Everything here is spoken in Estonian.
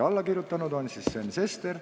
Aitäh!